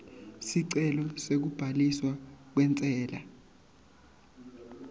sicelo sekubhaliswa kwentsela